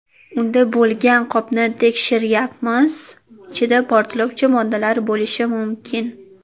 Unda bo‘lgan qopni tekshiryapmiz, ichida portlovchi moddalar bo‘lishi mumkin.